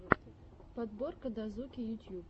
подборка дазуки ютьюб